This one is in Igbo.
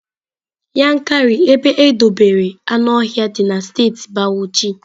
Yankari ebe edobere anuohia dị na steeti bauchi.